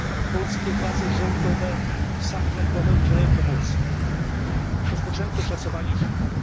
Polskie władze rządowe i samorządowe udzielają pomocy. Rozpoczęto szacowanie szkód.